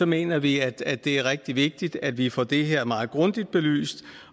mener vi at det er rigtig vigtigt at vi får det her meget grundigt belyst